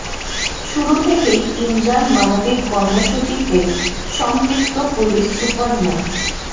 শুরু থেকেই ইমজার মানবিক কর্মসূচিতে সম্পৃক্ত পুলিশ সুপার মো